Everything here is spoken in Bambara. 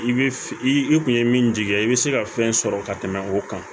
I bɛ i kun ye min jigiya ye i bɛ se ka fɛn sɔrɔ ka tɛmɛ o kan